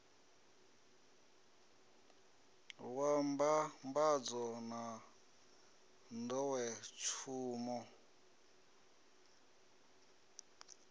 wa mbambadzo na n ḓowetsumo